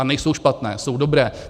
A nejsou špatné, jsou dobré.